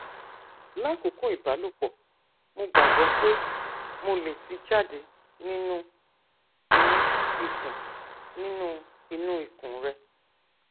lakoko ibalopo mo gbagbọ pe mo le ti jade ninu inu ikun ninu inu ikun rẹ